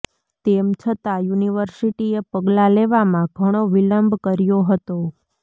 તેમ છતાં યુનિવર્સિટીએ પગલાં લેવામાં ઘણો વિલંબ કર્યો હતો